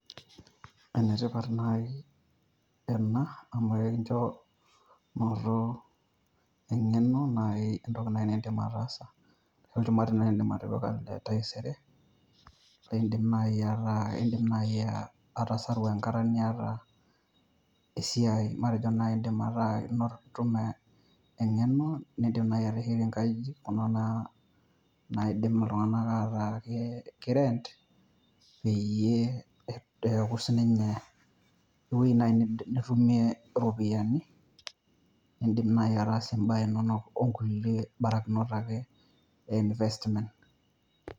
Ene tipat naji ena amu ikincho nooto eng'eno, nai entoki naji nidim atasa. Ore naji ene idim atipika entaisere , idim naji atasaru enkata niata esiai, matejo idim naji anoto eng'eno, ateshetie nkajijik kuna naji naidim iltung'ana ataa ki rent, peyie aku sii ninye eweji naji nitumie ropiani , idima atas iba inonok okulie barakinlt ake investment.